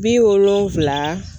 Bi wolonfila